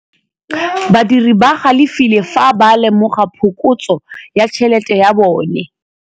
Badiri ba galefile fa ba lemoga phokotsô ya tšhelête ya bone.